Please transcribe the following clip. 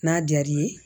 N'a diyar'i ye